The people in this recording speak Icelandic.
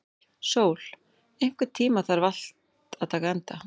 Sól, einhvern tímann þarf allt að taka enda.